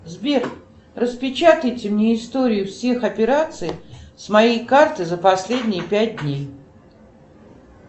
сбер распечатайте мне историю всех операций с моей карты за последние пять дней